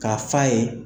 K'a f'a ye